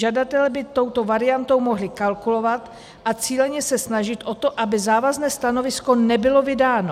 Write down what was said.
Žadatelé by touto variantou mohli kalkulovat a cíleně se snažit o to, aby závazné stanovisko nebylo vydáno.